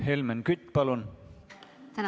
Helmen Kütt, palun!